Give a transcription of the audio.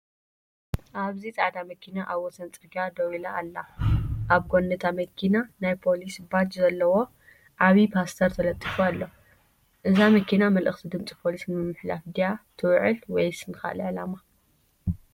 ኣብዚ ጻዕዳ መኪና ኣብ ወሰን ጽርግያ ደው ኢላ ኣላ። ኣብ ጎኒ እታ መኪና ናይ ፖሊስ ባጅ ዘለዎ ዓቢ ፖስተር ተለጢፉ ኣሎ። እዛ መኪና መልእኽቲ ድምጺ ፖሊስ ንምትሕልላፍ ድያ ትውዕል ወይስ ንኻልእ ዕላማ?